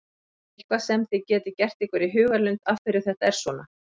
Er eitthvað sem þið getið gert ykkur í hugarlund af hverju þetta er svona?